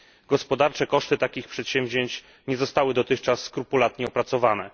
Gospodarcze koszty takich przedsięwzięć nie zostały dotychczas skrupulatnie oszacowane.